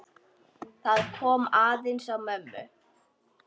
Það kom aðeins á mömmu.